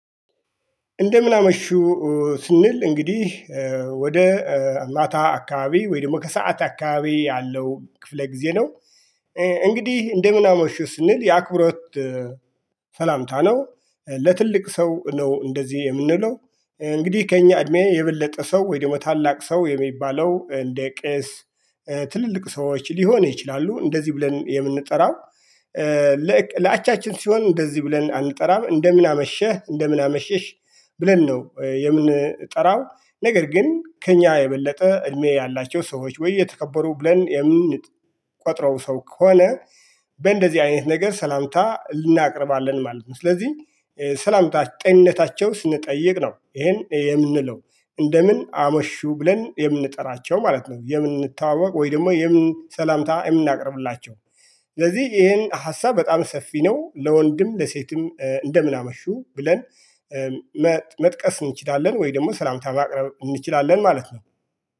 እንደምን አመሹ ስንል እንግዲህ ወደ ማታ አካባቢ ወይም ደግሞ ከሰአት አካባቢ ያለው ክፍለ ጊዜ ነው። እንግዲህ እንደምን አመሹ ስንል የአክብሮት ሰላምታ ነው። ለትልቅ ሰው ነው እንደዚህ የምንለው እንግዲህ ከእኛ እድሜ የበለጠ ሰው ወይ ደግሞ ታላቅ ሰው የሚባለው እንደ ቄስ ትልልቅ ሰዎች ሊሆን ይችላሉ። እንደዚህ ብለን የምንጠራው ለአቻችን ሲሆን እንደዚህ ብለን አንጠራም። እንደምን አመሸህ እንደምን አመሸሽ ብለን ነው የምንጠራው። ነገር ግን ከእኛ የበለጠ እድሜ ያላቸው ሰዎች ወይ የተከበሩ ብለን የምንቆጥረው ሰው ከሆነ በእንደዚህ አይነት ነገር ሰላምታ እናቀርባለን ማለት ነው። ስለዚህ ሰላምታች ጤንነታቸው ስንጠይቅ ነው ይሄን የምንለው እንደምን አመሹ ብለን የምንጠራቸው ማለት ነው። የምንተዋወቅ ወይ ደግሞ የምን ሰላምታ የምናቀርብላቸው ስለዚህ ይሄን ሀሳብ በጣም ሰፊ ነው። ለወንድም ለሴትም እንደምን አመሹ ብለን መጥቀስ እንችላለን ወይ ደግሞ ሰላምታ ማቅረብ እንችላለን ማለት ነው